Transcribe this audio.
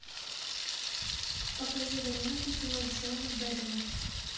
покажи варианты кино джона бэдэма